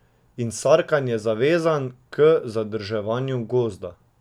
In Sarkan je zavezan k zadrževanju Gozda.